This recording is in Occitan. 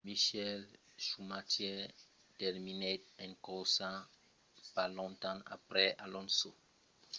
michael schumacher terminèt sa corsa pas longtemps aprèp alonso per encausa dels damatges de la suspension deguts a las batalhas nombrosas pendent la corsa